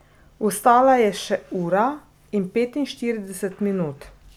Ostala je še ura in petinštirideset minut.